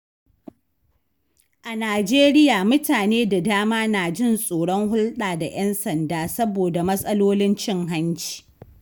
A Najeriya, mutane da dama na jin tsoron hulɗa da ƴan sanda saboda matsalolin cin hanci.